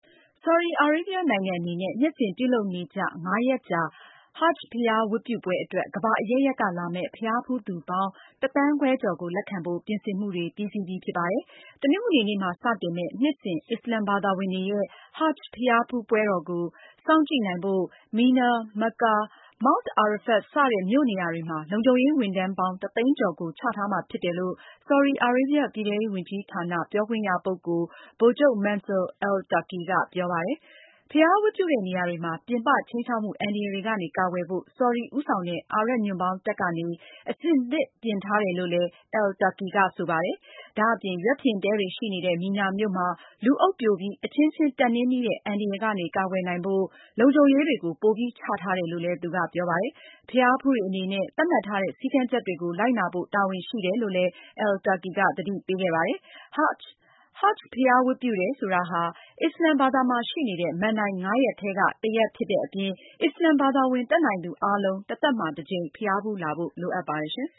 ဆော်ဒီအာရေဗျ နိုင်ငံအနေနဲ့ နှစ်စဉ်ပြုလုပ်နေကျ ငါးရက်ကြာ Hajj ဘုရားဝတ်ပြုပွဲအတွက် ကမ္ဘာအရပ်ရပ်က လာမယ့် ဘုရားဖူးသူပေါင်း ၁ သန်းခွဲကျော်ကို လက်ခံဖို့ ပြင်ဆင်မှုတွေ ပြီးစီးပြီ ဖြစ်ပါတယ်။ တနင်္ဂနွေနေ့မှာ စတင်မယ့် နှစ်စဉ် အစ္စလမ်ဘာသာဝင်တွေရဲ့ Hajj ဘုရားဝတ်ပြုပွဲကို စောင့်ကြည့်နိုင်ဖို့ မီနာ၊ မက္ကာ၊ မောင့်တ် အာရဖတ် စတဲ့ မြို့နေရာတွေမှာ လုံခြုံရေးဝန်ထမ်းပေါင်း ၁၀၀,၀၀၀ ကျော်ကို ချထားမှာ ဖြစ်တယ်လို့ ဆော်ဒီအာရေဗျ ပြည်ထဲရေးဝန်ကြီးဌာန ပြောခွင့်ရပုဂ္ဂိုလ် ဗိုလ်ချုပ် Mansour al-Turki က ပြောပါတယ်။ ဘုရားဝတ်ပြုတဲ့နေရာတွေမှာ ပြင်ပ ခြိမ်းခြောက်မှု အန္တရာယ်တွေကနေ ကာကွယ်ဖို့ ဆော်ဒီ ဦးဆောင်တဲ့ အာရပ်ညွန့်ပေါင်းတပ်ကနေ အဆင်သင့်ပြင်ထားတယ်လို့လည်း al-Turki က ဆိုပါတယ်။ ဒါ့အပြင် ရွက်ဖျင် တဲတွေ ရှိနေတဲ့ မီနာမြို့မှာ လူအုပ်ပြိုပြီး အချင်းချင်းတက်နင်းမိတဲ့ အန္တရာယ်ကနေ ကာကွယ်နိုင်ဖို့ လုံခြုံရေး တွေကို ပိုပြီးချထားတယ်လို့ သူကပြောပါတယ်။ ဘုရားဖူးတွေအနေနဲ့ သတ်မှတ်ထားတဲ့ စည်းကမ်းချက်တွေကို လိုက်နာဖို့ တာဝန်ရှိတယ်လို့လည်း al-Turki က သတိပေးခဲ့ပါတယ်။ Hajj ဘုရားဝတ်ပြုတယ်ဆိုတာဟာ အစ္စလာမ်ဘာသာမှာရှိနေတဲ့ မဏ္ဍိုင် ငါးရပ်ထဲက တခုဖြစ်တဲ့အပြင် အစ္စလမ် ဘာသာဝင် တတ်နိုင်သူအားလုံး တသက်မှာ တကြိမ် ဘုရားဖူးလာဖို့ လိုအပ်ပါတယ်